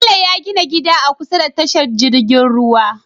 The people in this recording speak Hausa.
Bello ya gina gida a kusa da tashar jirgin ruwa